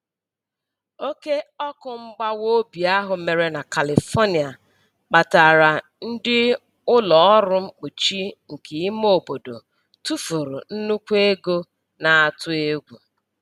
Oke ọkụ mgbawa obi ahụ mere na Califonia kpatara ndị ụlọ ọrụ mkpuchi nke ime obodo tụfuru nnukwu ego na-atụ egwu.